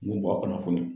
N b'u bɔ a kɔnɔ